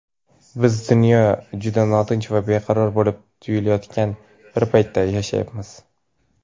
Biz dunyo juda notinch va beqaror bo‘lib tuyulayotgan bir paytda yashayapmiz.